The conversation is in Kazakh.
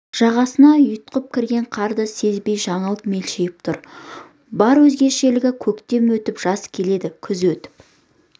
жағасына ұйтқып кірген қарды сезбей жаңыл мелшиіп тұр бар өзгешелігі көктем өтіп жаз келеді күз өтіп